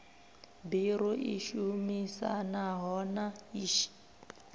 biro i shumisanaho na iss